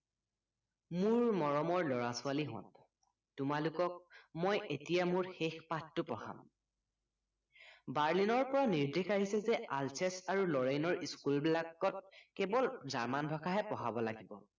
মোৰ মৰমৰ লৰা ছোৱালীহঁত তোমালোকক মই এতিয়া মোৰ শেষ পাঠটো পঢ়াম বাৰ্লিনৰ পৰা নিৰ্দেশ আহিছে যে আলছেছ আৰু লৰেইনৰ school বিলাকত কেৱল জাৰ্মান ভাষাহে পঢ়াব লাগিব